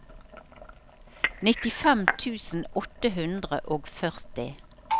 nittifem tusen åtte hundre og førti